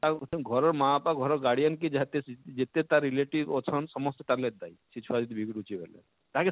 ଘରର ମାଁ ବାପା ଘରର guardian କି ଯେତେ ତାର relative ଅଛନ ସମସ୍ତେ ତାର ଲାଗି ଦାୟୀ ସେ ଛୁଆ ଯଦି ବିଗଡୁଛେ ବଏଲେ ତାହା କେ